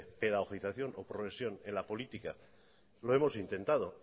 pedagoguización o progresión en la política lo hemos intentado